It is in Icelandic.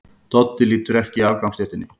Doddi lítur ekki af gangstéttinni.